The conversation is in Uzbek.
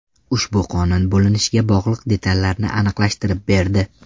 Ushbu qonun bo‘linishga bog‘liq detallarni aniqlashtirib berdi.